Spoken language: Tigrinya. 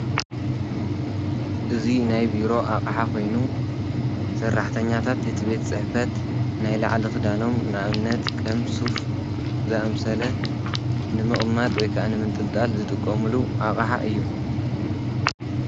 እዙይ ናይ ቢሮ ኣቕዓ ኾይኑ ሠራሕተኛታት እቲ ቤት ጽሕፈት ናይ ለዕሊ ኽዳኖም ንእምነት ከም ሱፍ ዘኣምሰለ ንምቕማጥ ወይከኣንም እንጥልጣል ዝጥቆምሉ ኣቐሓ እዩ።